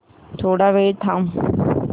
थोडा वेळ थांबव